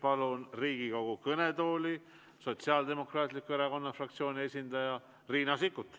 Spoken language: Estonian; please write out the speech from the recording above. Palun Riigikogu kõnetooli Sotsiaaldemokraatliku Erakonna fraktsiooni esindaja Riina Sikkuti.